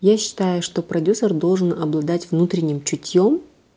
я считаю что продюсер должен обладать внутренним чутьём